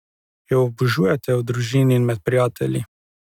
Jo obožujete v družini in med prijatelji?